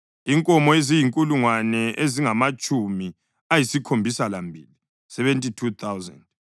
inkomo eziyizinkulungwane ezingamatshumi ayisikhombisa lambili (72,000),